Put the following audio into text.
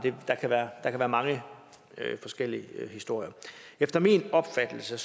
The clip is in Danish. der kan være mange forskellige historier efter min opfattelse